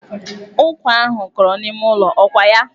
Ụkwa ahụ kọrọ n'ime ụlọ, ọ kwa ya?